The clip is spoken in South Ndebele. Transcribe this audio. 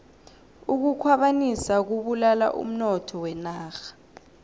ukukhwabanisa kubulala umnotho wenarha